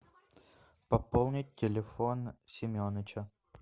пополнить телефон семеныча